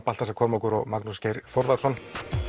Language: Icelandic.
Baltasar Kormákur og Magnús Geir Þórðarson